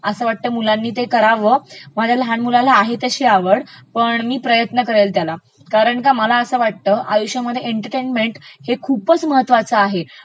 असं वाटतं मुलांनी ते करावं. माझ्या लहान मुलाला आहे तशी आवडं पण मी प्रयत्न करेल त्याला कारण का मला असं वाटत एन्चर्टेंमेंट हे खूपचं महत्त्वाचं आहे